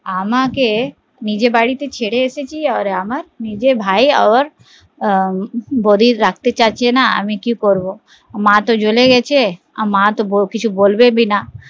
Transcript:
আমাকে নিজের বাড়িতে ছেড়ে এসেছি আমাকে নিজের ভাই আর বৌদি রাখতে চাইছে না আমি কি করবো মা তো জলে গেছে মা তো কিছু বলবেও না